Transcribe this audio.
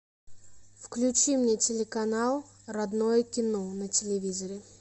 включи мне телеканал родное кино на телевизоре